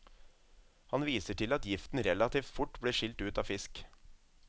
Han viser til at giften relativt fort blir skilt ut av fisk.